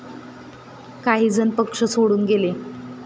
काही जण पक्ष सोडून गेले.